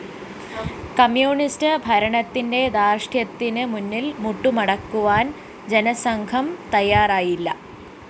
communist ഭരണത്തിന്റെ ധാര്‍ഷ്ട്യത്തിന് മുന്നില്‍ മുട്ടുമടക്കുവാന്‍ ജനസംഘം തയ്യാറായില്ല